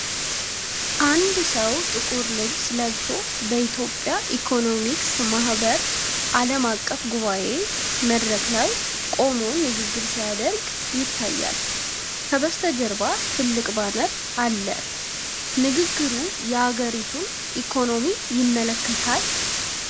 አንድ ሰው ጥቁር ልብስ ለብሶ፣ በኢትዮጵያ ኢኮኖሚክስ ማህበር ዓለም አቀፍ ጉባኤ መድረክ ላይ ቆሞ ንግግር ሲያደርግ ይታያል። ከበስተጀርባ ትልቅ ባነር አለ። ንግግሩ የአገሪቱን ኢኮኖሚ ይመለከታል?